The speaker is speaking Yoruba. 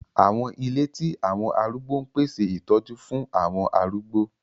Àwọn ìle ti àwọn àrúgbó n pese itọju fun awọn arúgbó.